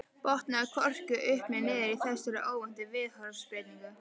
Botnaði hvorki upp né niður í þessari óvæntu viðhorfsbreytingu.